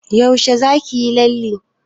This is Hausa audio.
Yaushe za ki yi lalle?